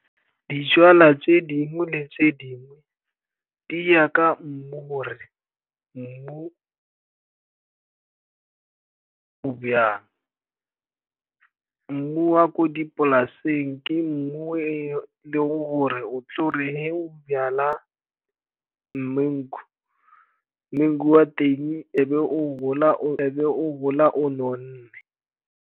Dijalo tse dingwe le tse dingwe di ya ka mmu, gore mmu o jang. Mmu wa ko dipolaseng ke mmu o e leng gore o tle gore ge o jala mango, mango wa teng e be o gola o nonne.